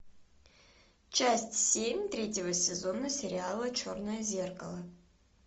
часть семь третьего сезона сериала черное зеркало